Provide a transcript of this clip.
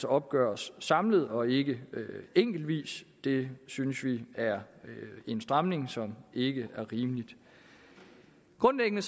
opgøres samlet og ikke enkeltvis det synes vi er en stramning som ikke er rimelig grundlæggende